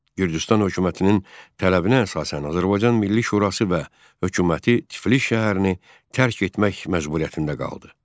Gürcüstan hökumətinin tələbinə əsasən Azərbaycan Milli Şurası və hökuməti Tiflis şəhərini tərk etmək məcburiyyətində qaldı.